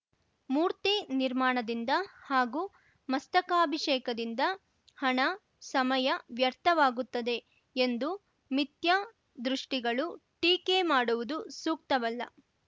ಮೂರ್ತಿ ನಿರ್ಮಾಣದಿಂದ ಹಾಗೂ ಮಸ್ತಕಾಭಿಷೇಕದಿಂದ ಹಣ ಸಮಯ ವ್ಯರ್ಥವಾಗುತ್ತದೆ ಎಂದು ಮಿಥ್ಯಾ ದೃಷ್ಟಿಗಳು ಟೀಕೆ ಮಾಡುವುದು ಸೂಕ್ತವಲ್ಲ